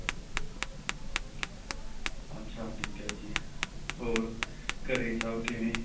ਅੱਛਾ ਠੀਕ ਏ ਜੀ ਹੋਰ ਘਰੇ ਸਭ ਕਿਵੇਂ